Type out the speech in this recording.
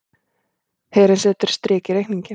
Herinn setur strik í reikninginn